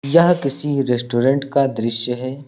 यह किसी रेस्टोरेंट का दृश्य है।